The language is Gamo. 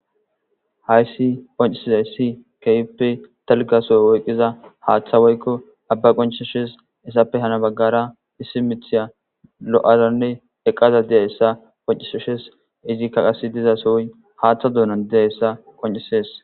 Haysi qonc'isizaysi kehipe dalga soho oyqiza hate woyko aba qonc'ses izape hara bagara issi mithiya lo'adane eqada diyaysa qonc'ses izika diza sohoy hate donan dizaysa hesan qonc'ses.